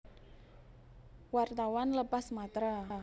Wartawan lepas Matra